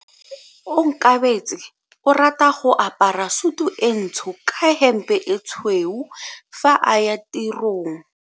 Onkabetse o rata go apara sutu e ntsho ka hempe e tshweu fa a ya tirong.